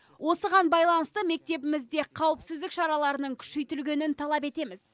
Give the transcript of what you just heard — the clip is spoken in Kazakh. осыған байланысты мектебімізде қауіпсіздік шараларының күшейтілгенін талап етеміз